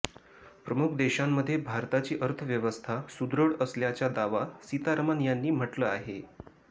प्रमुख देशांमध्ये भारताची अर्थवयवस्था सुदृढ असल्याचा दावा सीतारमन यांनी म्हटलं आहे